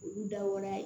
Olu dawara ye